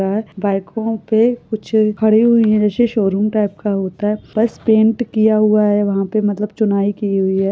बाइकों पे कुछ खड़ी हुई है। किसी शोरूम टाइप का होता है। बस पैंट किया हुआ है। वाहपे मतलब चुनाई की हुई है ।